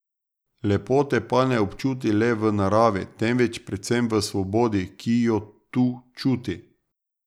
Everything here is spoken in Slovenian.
Lepote pa ne občuti le v naravi, temveč predvsem v svobodi, ki jo tu čuti.